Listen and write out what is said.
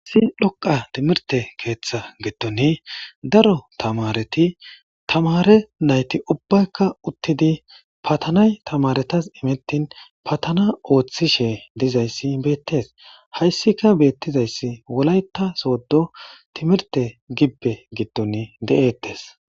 hissi loqa timirte keeththa gitton daro tamareti tamare nayti ubbaykka uttidi patanay tamaretas imettin patana ooththishe dizayssi beettes hayssika beettizayssi wolayta soodo timirte gibpe gitton de7eettes